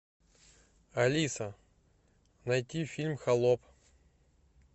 алиса найти фильм холоп